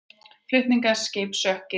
Flutningaskip sökk í Rín